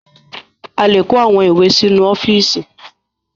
A lè kó àwọn ìwé sínú ọ́fíísì.